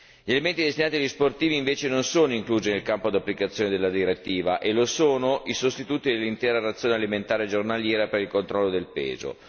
Gli alimenti destinati agli sportivi invece non sono inclusi nel campo di applicazione della direttiva e lo sono i sostituti dell'intera razione alimentare giornaliera per il controllo del peso